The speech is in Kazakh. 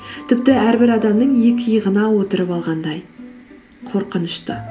тіпті әрбір адамның екі иығына отырып алғандай қорқынышты